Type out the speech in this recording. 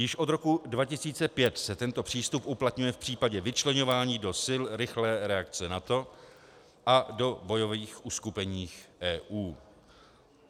Již od roku 2005 se tento přístup uplatňuje v případě vyčleňování do Sil rychlé reakce NATO a do bojových uskupení EU.